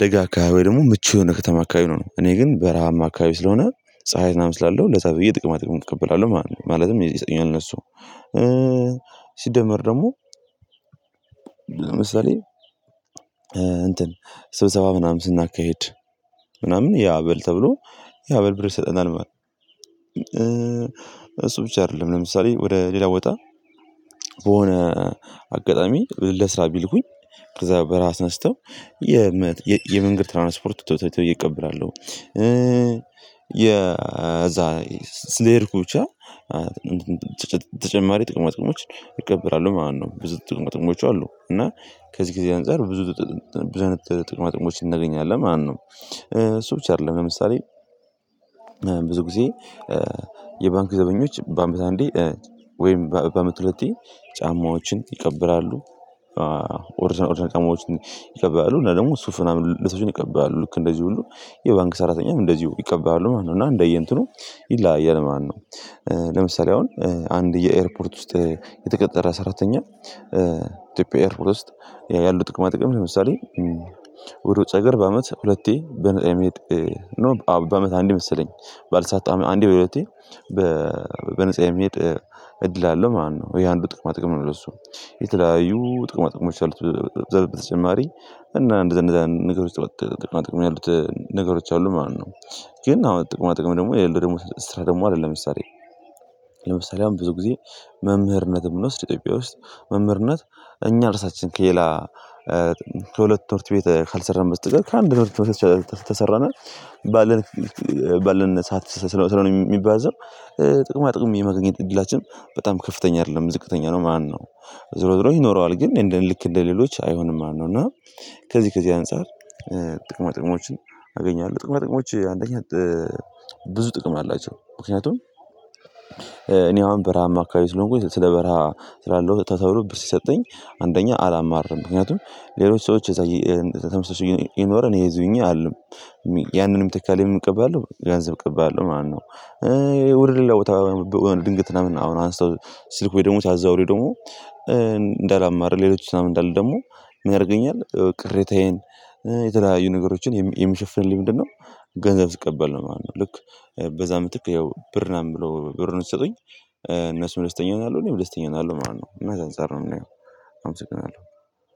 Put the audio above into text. ደጋ አከባቢ ደግሞ ምቹ የሆነ ከተማ አካባቢ ነው። እኔ ግን በረሃማ አካባቢ ስለሆነ ፀሀይ ምናምን ስላለው ለዛ ብዬ ጥቅማ ጥቅምን እቀበላለሁ። ማለትነ ማለትም የነሱ ሲደመር ደግሞ ለምሳሌ እንትን ስብሰባ ምናምን ስናካይድ ምናምን ያ አበል ተብሎ ያ ብር ይሰጠናል። እሱ ብቻ አይደለም ለምሳሌ ወደ ሌላ ቦታ በሆነ አጋጣሚ ለስራ ቢልኩኝ ከዛ በራስ ተነስተው የመንገድ ትራንስፖርት ተብዬ እቀበላለው። የዛ ስለሄድኩ ብቻ ተጨማሪ ጥቅሞ ጥቅሞችን እቀበላለው ማለት ነው። ብዙ ጥቅማ ጥቅሞች አሉ። እና ከዚህ ጊዜ አንፃር ብዙ ብዙ ጥቅማጥቅሞችን እናገኛለን። ማነው እሱ ብቻ አይደለም ለምሳሌ ጊዜ የባንክ ዘበኞች በአመት አንዴ ወይም በአመት ሁለቴ ጫማዎችን ይቀበላሉ። ኦርጅናል ኦርጅናል ጫማዎችን ይቀበላሉ እና ደግሞ ሱፍ ምናምን ልብሶችን ይቀበላሉ ልክ እንደዚ ሁሉ የባንክ ሰራተኛም እንደዚሁ ይቀበላሉ ማለት ነው። እና እንደየ እንትኑ ይለያያል ማለት ነው። ለምሳሌ አሁን አንድ የኤርፖርት ውስጥ የተቀጠረ ሰራተኛ ኢትዮጵያ ኤርፖርት ውስጥ ያሉ ጥቅማ ጥቅም ለምሳሌ ወደ ውጭ አገር በአመት ሁለቴ በአመት አንድ መሰለኝ ባልሳሳት አንዴ ወይ ሁለቴ በነፃ የሚሄድ እድል አለው ማለት ነው። ይሄ አንዱ ጥቅማ ጥቅም ነው። ለሱ የተለያዩ ጥቅማ ጥቅሞች አሉት በተጨማሪ እና አንደዛ እንደዛ ነገሮች ጥቅማ ጥቅም ያሉት ነገሮች አሉ ማለት ነው። ግን አሁን ጥቅማ ጥቅም ደግሞ የሌለው ደግሞ ስራ ደግሞ አለ። ለምሳሌ አሁን ብዙ ጊዜ መምህርነት ብንወስድ ኢትዮጵያ ውስጥ መምህርነት እኛ እርሳችን ከሌላ ከሁለት ትምርት ቤት ካልሰራን በስተቀር ከአንድ ትምርት ተሰራን ባለን ሰዓት ስለሆነ የሚባዘው ጥቅማ ጥቅም የማገኘት እድላችን በጣም ከፍተኛ አይደለም ዝቅተኛ ነው ማለት ነው። ዝሮ ዝሮ ይኖረዋል ግን እንደ ልክ እንደ ሌሎች አይሆንም ማለት ነው። እና ከዚህ ከዚህ አንፃር ጥቅማ ጥቅሞችን አገኛለሁ። ጥቅማ ጥቅሞች አንደኛ ብዙ ጥቅም አላቸው ምክንያቱም አሁን በረሃማ አካባቢ ስለሆንኩኝ ስለ በረሃ ስላለው ተብሎ ሲሰጠኝ አንደኛ አላማርርም ምክንያቱም ሌሎች ሰዎች እዛ ተመሳሳይ እየኖርን ይሄ እዚ ሁኜ አልልም። ያንንም ምትክ ምን እቀባለው ገንዘብ እቀበላለው ማለት ነው። ውደ ሌላው ቦታ ድንገት ነው አሁን አንስተው ስስኩ ወደቦታው አዛው ላይ ደግሞ እንዳላማርር ሌሎች ምናምን እንዳለ ደግሞ ምን ያደርገኛል ቅሬታዬን የተለያዩ ነገሮችን የምሸፍንልኝ ምንድነው? ገንዘብ ስቀበል ነው ማለት ነው። ልክ በዛ ምትክ ያው ብር ምናምን ብሎ ብሩን ሲሰጡኝ እነሱም ደስተኛ ይሆናሉ እኔም ደስተኛ እሆናለው ማለት ነው። እና አንፃር ነው የምናየው። አመሰግናለው።